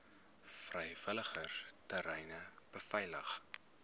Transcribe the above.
vrywilligers treine beveilig